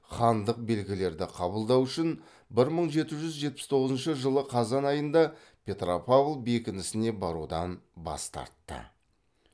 хандық белгілерді қабылдау үшін бір мың жеті жүз жетпіс тоғызыншы жылы қазан айында петропавл бекінісіне барудан бас тартты